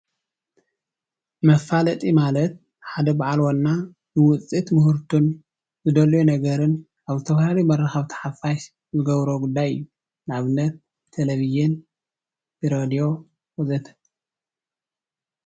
መፋለጢ ማለት ሓደ በዓል ዋና ብውፅኢቱን ዝደለዮ ነገርን ኣብ ዝተፈላለዩ መራከብቲ ሓፋሽ ዝገብሮ ጉዳይ እዩ። ንኣብነት፦ ብቴሌቭዥን ፣ብሬድዮ፣ ወዘተ።